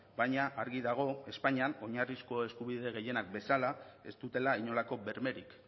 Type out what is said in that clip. baina argi dago espainian oinarrizko eskubide gehienak bezala ez dutela inolako bermerik